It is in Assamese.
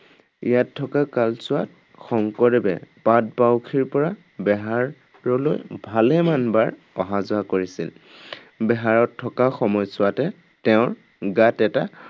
ইয়াত থকা কালছোৱাত শংকৰদেৱে পাটবাউসীৰ পৰা বেহাৰলৈ ভালেমান বাৰ অহা যোৱা কৰিছিল। বেহাৰত থকা সময়ছোৱাতে তেওঁৰ গাত এটা